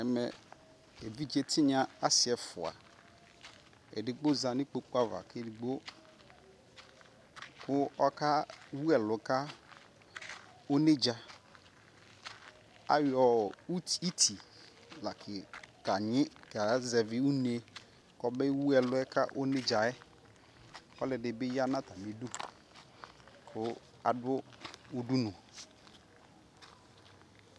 Ɛmɛɛ ɛviɖʒe tinya asii ɛfua edigbo ƶanikpokuava ku edigbo akewuɛlu kaoneɖʒa ayɔɔ iti kaʒɛvi unee Kobe wuɛluɛka oneɖʒaɛ ɔluɛdibi ya natamidu ku adu udunu